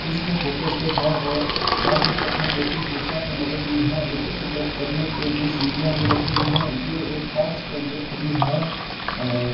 इसमें photostat है और बाहर की तरफ मे दो तीन कुर्सियां भी लगाई है और ऊपर की तरफ चढ़ने के लिए सीढ़ियां भी रखी गई है ये एक कांच का गेट भी है और --